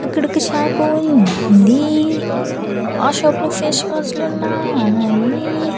అక్కడొక షాపు ఉంది ఆ షాప్ లో ఫేస్ వాష్ లున్నాయి.